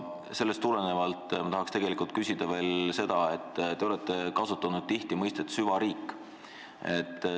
Sellest tulenevalt tahan ma küsida veel selle kohta, et te olete tihti kasutanud mõistet "süvariik".